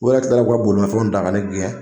O yɛrɛ kila la ka bolimafɛnw ta ka ne gɛn.